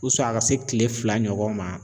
a ka se kile fila ɲɔgɔn ma.